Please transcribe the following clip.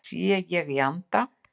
Sé ég í anda